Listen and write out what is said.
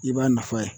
I b'a nafa ye